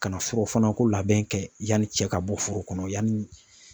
Ka na foro fana ko labɛn kɛ yanni cɛ ka bɔ foro kɔnɔ yanni